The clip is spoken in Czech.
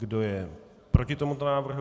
Kdo je proti tomuto návrhu?